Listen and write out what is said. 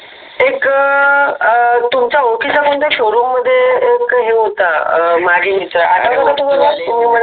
एक अ तुमचा ओळखीच्या कोणता एक show room मध्ये एक हे होता आठवत का तुम्हाला